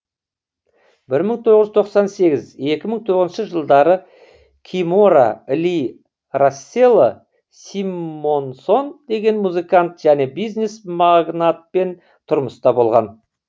бір мың тоғыз жүз тоқсан сегіз екі мың тоғызыншы жылдары кимора ли рассело симмонсон деген музыкант және бизнес магнатпен тұрмыста болған